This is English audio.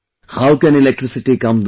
How can electricity come this way